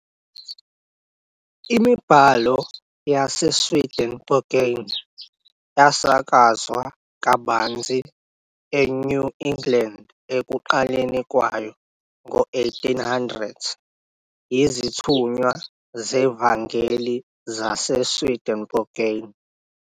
Imibhalo yaseSwedenborgian yasakazwa kabanzi eNew England ekuqaleni kwawo-1800 yizithunywa zevangeli zaseSwedenborgian.